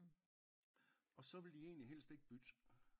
Og så vil de egentlig helst ikke bytte